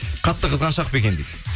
қатты қызғаншақ па екен дейді